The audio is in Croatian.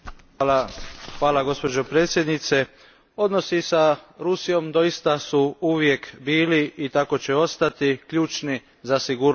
Gospođo predsjednice, odnosi s Rusijom doista su uvijek bili, i tako će i ostati, ključni za sigurnost Europe.